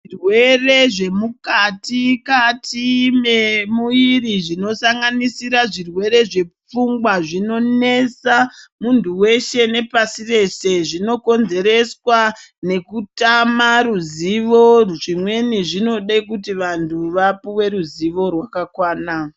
Zvirwere zvemukati kati memuviri zvinosanganisira zvirwere zvepfungwa zvinonesa muntu weshe nepashi reshe zvinokonzereswa nekutama ruzivo zvimweni zvinoda kuti vantu vapuwe ruzivo rwakakwana.